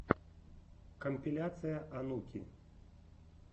компиляция онуки